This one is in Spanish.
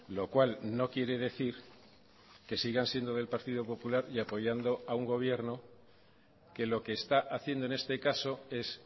lo cual no quiere decir que sigan siendo del partido popular y apoyando a un gobierno que lo que está haciendo en este caso es